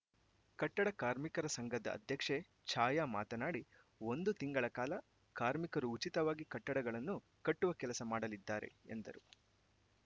ಕಟ್ಟಡ ಕಾರ್ಮಿಕರ ಸಂಘದ ಅಧ್ಯಕ್ಷೆ ಛಾಯಾ ಮಾತನಾಡಿ ಒಂದು ತಿಂಗಳ ಕಾಲ ಕಾರ್ಮಿಕರು ಉಚಿತವಾಗಿ ಕಟ್ಟಡಗಳನ್ನು ಕಟ್ಟುವ ಕೆಲಸ ಮಾಡಲಿದ್ದಾರೆ ಎಂದರು